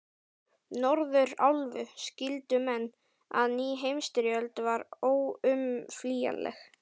Norðurálfu, skildu menn, að ný heimsstyrjöld var óumflýjanleg.